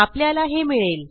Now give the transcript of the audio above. आपल्याला हे मिळेल